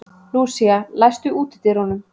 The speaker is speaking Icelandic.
Lúísa, læstu útidyrunum.